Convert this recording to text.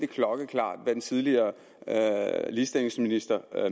klokkeklart hvad den tidligere ligestillingsminister